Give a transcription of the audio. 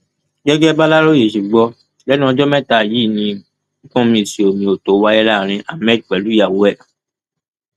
gẹgẹ bàlàròyé ṣe gbọ lẹnu ọjọ mẹta yìí ni gbọnmisíiomiòtóó wáyé láàrin ahmed pẹlú ìyàwó ẹ